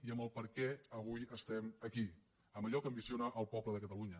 i amb el perquè avui estem aquí amb allò que ambiciona el poble de catalunya